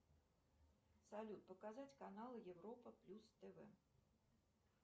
салют показать канал европа плюс тв